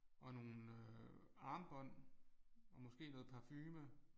Og nogle øh armbånd og måske noget parfume